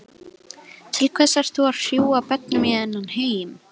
Til hvers ert þú að hrúga börnum í þennan heim?